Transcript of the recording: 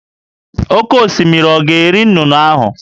Oké osimiri ọ̀ ga-eri nnụnụ ndị ahụ?